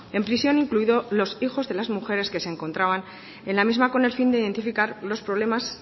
en prisión incluidos los hijos de las mujeres que se encontraban en la misma con el fin de identificar los problemas